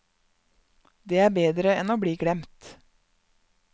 Det er bedre enn å bli glemt.